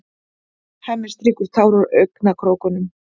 Hemmi strýkur tár úr augnakrókunum.